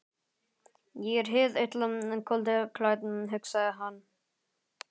Ég er hið illa holdi klætt, hugsaði hann.